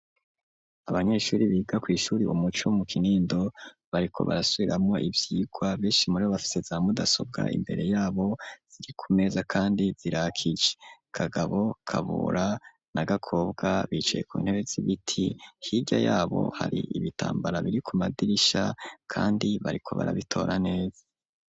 abanyeshuri biga kwishuri umuco mu kinindo , bariko barasubiramwo ivyigwa , benshi muribo bafise za mudasobwa imbere yabo , ziri ku meza kandi zirakije . Kagabo , Kabura na Gakobwa,b bicaye ku ntebe z'ibiti , hirya yabo hari ibitambara biri ku madirisha , kandi bariko barabitora neza.